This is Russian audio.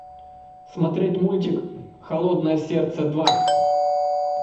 смотреть мультик холодное сердце два